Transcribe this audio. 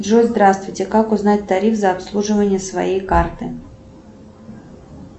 джой здравствуйте как узнать тариф за обслуживание своей карты